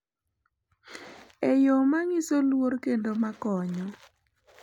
E yo ma nyiso luor kendo ma konyo.